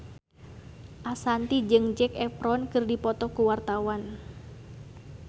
Ashanti jeung Zac Efron keur dipoto ku wartawan